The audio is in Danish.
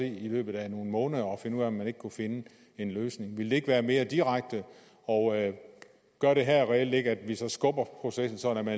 i løbet af nogle måneder og finde ud af om man ikke kunne finde en løsning ville det ikke være mere direkte og gør det her reelt ikke at vi så skubber processen sådan at